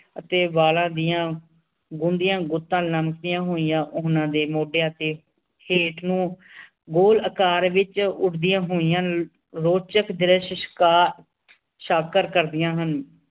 ਅਤੇ ਬਾਲਾਂ ਦੀਆਂ ਗੁਣਦੀਆਂ ਗੁੱਤਾਂ ਲਮਕਦੀਆਂ ਹੋਈਆਂ ਉਹਨਾਂ ਦੇ ਮੋਡਿਆਂ ਦੇ ਹੇਠ ਨੂੰ ਗੋਲ ਆਕਾਰ ਵਿਚ ਉਡਦੀਆਂ ਹੋਈਆਂ ਰੋਚਕ ਦ੍ਰਿਸਯ ਕਾ ਸ਼ਕ ਸ਼ਾਕਰ ਕਰਦੀਆਂ ਹਨ